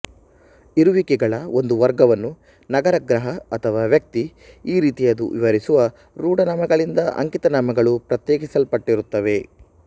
ಇರುವಿಕೆಗಳ ಒಂದು ವರ್ಗವನ್ನು ನಗರ ಗ್ರಹ ಅಥವಾ ವ್ಯಕ್ತಿ ಈ ರೀತಿಯದು ವಿವರಿಸುವ ರೂಢನಾಮಗಳಿಂದ ಅಂಕಿತನಾಮಗಳು ಪ್ರತ್ಯೇಕಿಸಲ್ಪಟ್ಟಿರುತ್ತವೆ